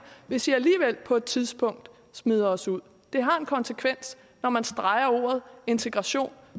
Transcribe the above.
hvis i alligevel på et tidspunkt smider os ud det har en konsekvens når man streger ordet integration